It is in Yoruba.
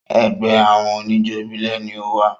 Ẹgbẹ́ àwọn oníjó ìbílẹ̀ ni o wà.